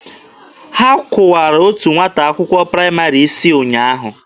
Ha kụwara otu nwata akwụkwọ praịmarị isi ụnyaahụ.